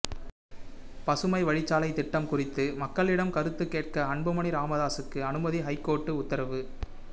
பசுமை வழிச்சாலை திட்டம் குறித்து மக்களிடம் கருத்து கேட்க அன்புமணி ராமதாசுக்கு அனுமதி ஐகோர்ட்டு உத்தரவு